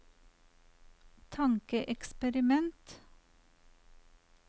tankeeksperiment